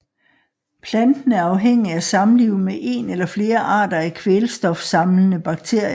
Planten er afhængig af samliv med én eller flere arter af kvælstofsamlende bakterier